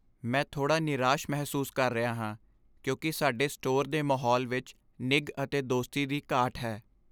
ਮੈਂ ਥੋੜ੍ਹਾ ਨਿਰਾਸ਼ ਮਹਿਸੂਸ ਕਰ ਰਿਹਾ ਹਾਂ ਕਿਉਂਕਿ ਸਾਡੇ ਸਟੋਰ ਦੇ ਮਾਹੌਲ ਵਿੱਚ ਨਿੱਘ ਅਤੇ ਦੋਸਤੀ ਦੀ ਘਾਟ ਹੈ।